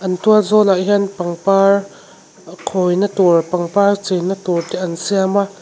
an tualzawlah hian pangpar khawina tur pangpar chei na turte an siam a.